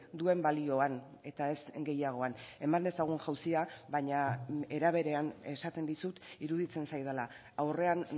duen balioan eta ez gehiagoan eman dezagun jauzia baina era berean esaten dizut iruditzen zaidala aurrean